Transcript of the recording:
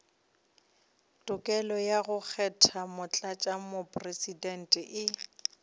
tokelo ya go kgetha motlatšamopresidente